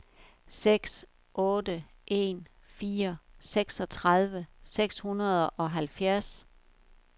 seks otte en fire seksogtredive seks hundrede og halvfjerds